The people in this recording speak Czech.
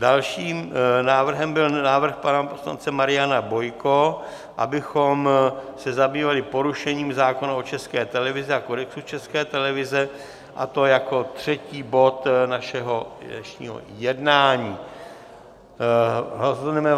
Dalším návrhem byl návrh pana poslance Mariana Bojka, abychom se zabývali porušením zákona o České televizi a Kodexu České televize, a to jako třetí bod našeho dnešního jednání.